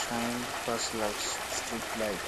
shine pass lasg streetlight